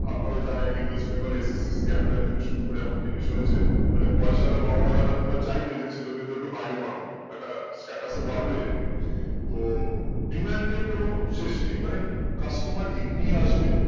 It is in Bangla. আপনারা জানেন এই west bengal এ SSDcamp থেকে শুরু করে এমন জিনিস হয়েছে মানে পয়সাওয়ালা বাবা মা রা হয়তো বা চাইবে যে ছেলে মেয়েদের কে বাইরে পাঠাবো একটা status তো বাড়বে হুম তো demand এর কোনো শেষ নেই মানে customer এমনি আসবে